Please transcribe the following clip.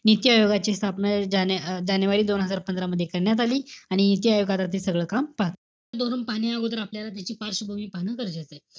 निश्चय योगाची स्थापना ज~ अं जानेवारी दोन हजार पंधरा मध्ये करण्यात आली. आणि सगळं काम पहा. पाहण्याअगोदर आपल्याला त्याची पार्शवभूमी पहाणं गरजेचय.